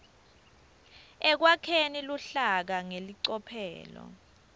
ekwakheni luhlaka ngelicophelo